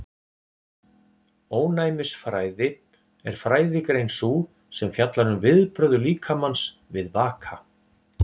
Ónæmisfræði er fræðigrein sú sem fjallar um viðbrögð líkamans við vaka.